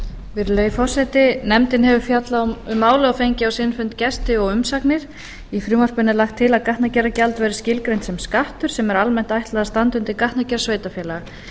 virðulegi forseti nefndin hefur fjallað um málið og fengið á sinn fund gesti og umsagnir í frumvarpinu er lagt til að gatnagerðargjald verði skilgreint sem skattur sem er almennt ætlað að standa undir gatnagerð sveitarfélaga